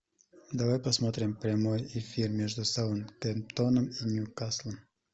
давай посмотрим прямой эфир между саутгемптоном и ньюкаслом